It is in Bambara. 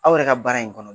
Aw yɛrɛ ka baara in kɔnɔ